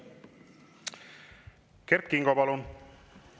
Kert Kingo, palun!